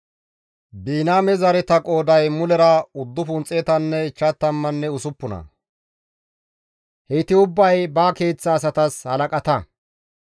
Biniyaame zareta qooday mulera 956; heyti ubbay ba keeththa asatas halaqata.